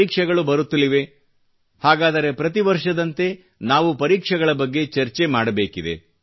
ಪರೀಕ್ಷೆಗಳು ಬರುತ್ತಲಿವೆ ಹಾಗಾದರೆ ಪ್ರತಿ ವರ್ಷದಂತೆ ನಾವು ಪರೀಕ್ಷೆಗಳ ಬಗ್ಗೆ ಚರ್ಚೆ ಮಾಡಬೇಕಿದೆ